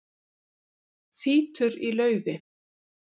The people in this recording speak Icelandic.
Þýtur í laufi